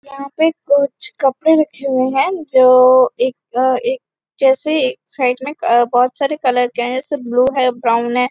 यहाँ पे कुछ कपड़े रखे हुए है जो एक एक जैसे एक साइड में बहोत सारे कलर के है ऐसे ब्लू है ब्राउन है।